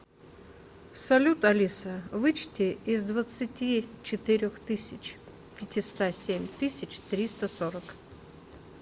салют алиса вычти из двадцати четырех тысяч пятиста семь тысяч триста сорок